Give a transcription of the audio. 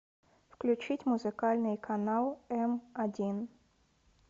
включить музыкальный канал м один